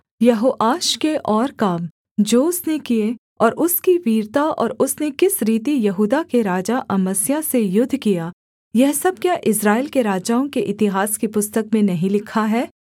यहोआश के और काम जो उसने किए और उसकी वीरता और उसने किस रीति यहूदा के राजा अमस्याह से युद्ध किया यह सब क्या इस्राएल के राजाओं के इतिहास की पुस्तक में नहीं लिखा है